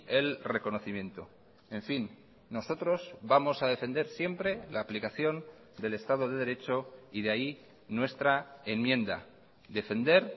el reconocimiento en fin nosotros vamos a defender siempre la aplicación del estado de derecho y de ahí nuestra enmienda defender